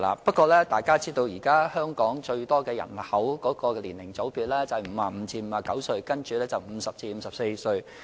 不過，大家也知道，現時佔香港人口最多的年齡組別為55歲至59歲，然後是50歲至54歲。